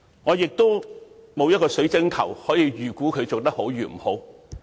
我沒有水晶球可以預估她做得好不好。